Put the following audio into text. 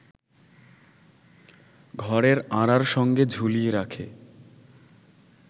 ঘরের আঁড়ার সঙ্গে ঝুলিয়ে রাখে